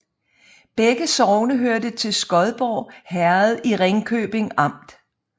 Begge sogne hørte til Skodborg Herred i Ringkøbing Amt